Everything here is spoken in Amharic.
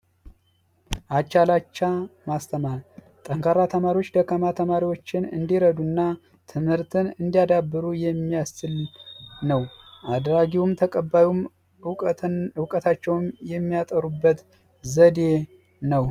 አቻ ላቻ ማስተማር ጠንካራ ተማሪዎች ደካማ ተማሪዎችን እንዲረዱ እና ትምህርትን እንዲያዳብሩ የሚያስችል ነው። አድራጊውም ተቀባዩም እውቀታቸውን የሚያጠሩበት ዘዴ ነው።